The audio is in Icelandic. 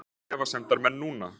Hvað segja efasemdarmenn núna??